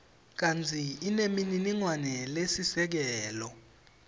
kantsi inemininingwane lesisekelo